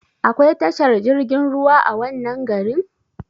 Akwai tashar jirgin ruwa a wannan garin?